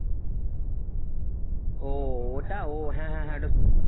ওহ ওটা ও হ্যাঁ হ্যাঁ হ্যাঁ ওটা